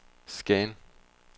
scan